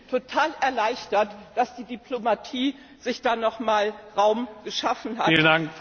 Ich bin total erleichtert, dass die Diplomatie sich noch einmal Raum geschaffen hat.